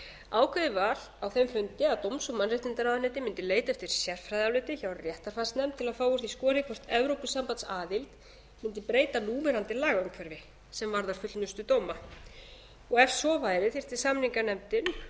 ákveðið var á þeim fundi að dóms og mannréttindaráðuneytið mundi leita eftir sérfræðiáliti hjá réttarfarsnefnd til að fá úr því skorið hvort evrópusambandsaðild mundi breyta núverandi lagaumhverfi sem varðar fullnustu dóma ef svo væri þyrfti samninganefndin